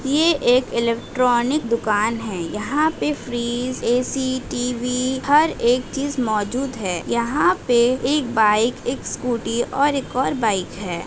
ये एक इलेक्ट्रॉनिक दुकान है यहाँ पे फ्रिज ऐ_सी टी_वी हर एक चीज मौजूद है यहाँ पे एक बाइक एक स्कूटी और एक और बाइक है।